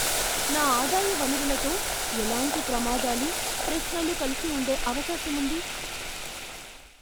నా ఆదాయ వనరులతో ఎలాంటి ప్రమాదాలు, ప్రశ్నలు కలిసి ఉండే అవకాశం ఉంది?